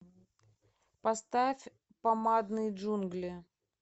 поставь помадные джунгли